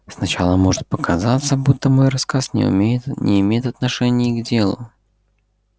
сначала может показаться будто мой рассказ не имеет отношения к делу